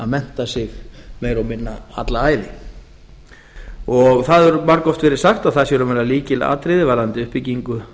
mennta sig meira og minna alla ævi það hefur margoft verið sagt að það sé í raun og veru lykilatriði varðandi uppbyggingu